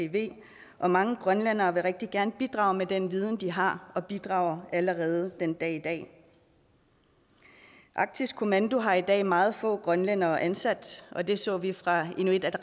og mange grønlændere vil rigtig gerne bidrage med den viden de har og bidrager allerede den dag i dag arktisk kommando har i dag meget få grønlændere ansat og det så vi fra inuit